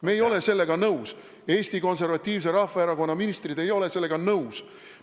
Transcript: Meie ei ole sellega nõus, Eesti Konservatiivse Rahvaerakonna ministrid ei ole sellega nõus.